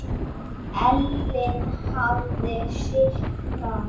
Ellin hafði sitt fram.